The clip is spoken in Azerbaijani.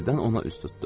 Qəfildən ona üz tutdu.